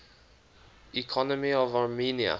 economy of armenia